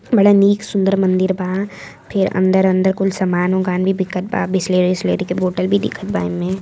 बड़ा निक सुंदर मंदिर बा। फेर अंदर-अंदर कुल समान ओगान भी बिकत बा बिसलेरी -ओसलेरी के बोटल भी दीखत बा एमे।